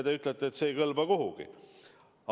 Te ütlete, et see ei kõlba kuhugi.